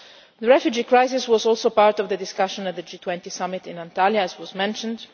that. The refugee crisis was also part of the discussion at the G20 Summit in Antalya, as was mentioned.